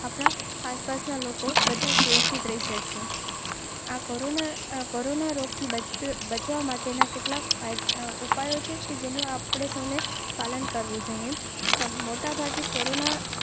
આસપાસના લોકો સુરક્ષિત રહી શકે. કોરોના રોગથી બચવા માટેના કેટલાક ઉપાયો. પાલન કરવું જોઇએ. મોટાભાગે કરો.